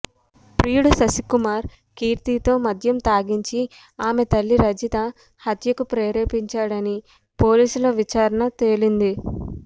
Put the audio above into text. ప్రియుడు శశి కుమార్ కీర్తితో మద్యం తాగించి ఆమె తల్లి రజిత హత్యకు ప్రేరేపించాడని పోలీసుల విచారణ తేలింది